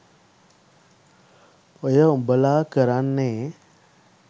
ඔය උබලා කරන්නේ?